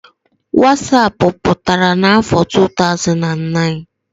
wasapụ pụtara n'afọ 2009